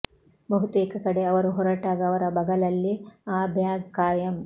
ಬಹುತೇಕ ಕಡೆ ಅವರು ಹೊರಟಾಗ ಅವರ ಬಗಲಲ್ಲಿ ಆ ಬ್ಯಾಗ್ ಕಾಯಂ